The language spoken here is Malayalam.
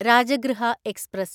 രാജഗൃഹ എക്സ്പ്രസ്